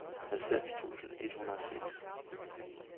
halvfems tusind et hundrede og seks